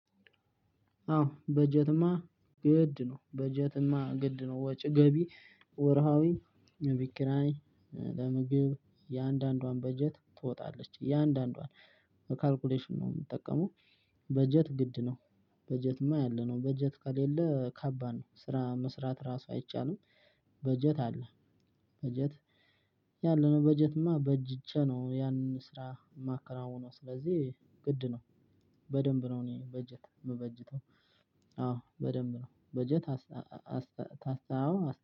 አወ በጀትማ ግድ ነው በጀትማ ግድ ነው ወጭ ገቢ ወርሃዊ የቤት ኪራይ ለምግብ እያንዳንዷን በጀት ትወጣለች እያንዳንዷን በካልኩሌሽን ነው የምጠቀመው። በጀት ግድ ነው። በጀትማ ያለነው በጀት ከሌለ ከባድ ነው ስራ መስራት ራሱ አይቻልም። በጀት አለ። በጀት ያለውን በጀትማ በጅቼ ነው። ያንኑ ስራ የማከናውነው ስለዚህ ግድ ነው። በደንብ ነው እኔ በጀት የምበጅተው። አዎ በደንብ ነው። በጀት